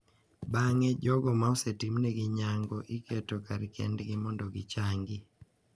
Bang’e, jogo ma osetimnegi nyuango iketo kar kendgi mondo gichangi,